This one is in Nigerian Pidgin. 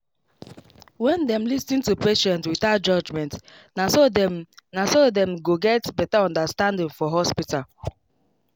when them lis ten to patient without judgment naso dem naso dem go get better understanding for hospital